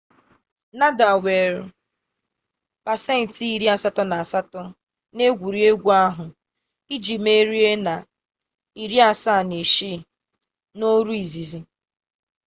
nadal nwere 88% n'egwuregwu ahụ iji merie na 76 n'ọrụ izizi